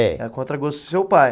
É. A contra gosto do seu pai.